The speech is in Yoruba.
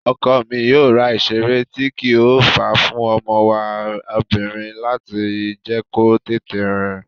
Ọkọ mi yóò ra ìseré tíì kí o fàá fún ọmọ wa obìrin láti lè jẹ́ kó tètè rìn